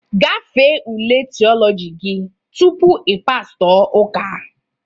Gafee ule Theology gị tupu ị pastọ ụka!